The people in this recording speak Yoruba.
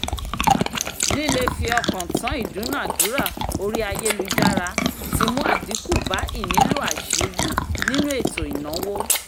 líle-fi-ọ̀kàn-tán ìdúnadúrà orí ayélujára ti mú àdínkù bá ìnílò àṣírí nínú ètò ìnáwó